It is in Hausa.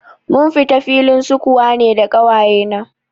Mun fita filin sukuwa ne da ƙawaye na